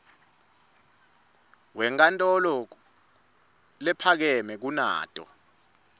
wenkantolo lephakeme kunato